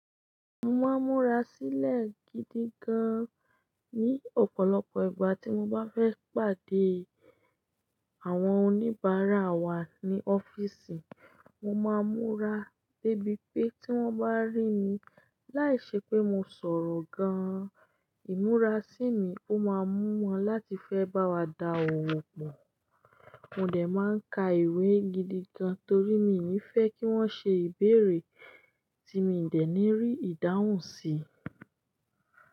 Mo máa ń múra sílẹ̀ gidi gan-an ní ọ̀pọ̀lọpọ̀ ìgbà tí mo bá fẹ́ pàdé àwọn oníbàárà wa ní ọ́fíìsì. Mo máa ń múra débi pé tí wọ́n bá rí mi, láìṣe pé mo sọ̀rọ̀ gan-an, ìmúra sími ó máa ń mú wọn láti fẹ́ bá wa dá òwò pọ̀. Mo dẹ̀ máa ń ka ìwé gidi gan-an torí mi ò ní fẹ́ kí wọ́n ṣe ìbéèrè tí mii dẹ̀ ní rí ìdáhùn sí.